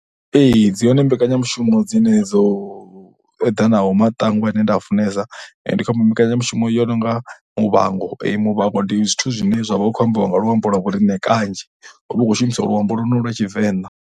Ee, dzi hone mbekanyamushumo dzine dzo eḓanaho matangwa ane nda i funesa. Ndi khou ambo mbekanyamushumo yo no nga Muvhango. Muvhango ndi zwithu zwine zwa vha vha khou ambiwa nga luambo lwa vho riṋe kanzhi hu vha hu khou shumisa luambo lwonolu lwa Tshivenḓa.